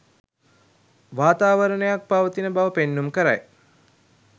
වාතාවරණයක් පවතින බව පෙන්නුම් කරයි.